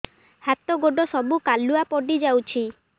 ହାତ ଗୋଡ ସବୁ କାଲୁଆ ପଡି ଯାଉଛି